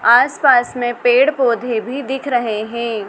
आस पास में पेड़ पौधे भी दिख रहे हैं।